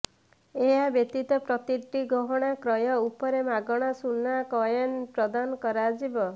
ଏହା ବ୍ୟତୀତ ପ୍ରତିଟି ଗହଣା କ୍ରୟ ଉପରେ ମାଗଣା ସୁନା କଏନ ପ୍ରଦାନ କରାଯିବ